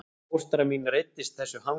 Fóstra mín reiddist þessu hangsi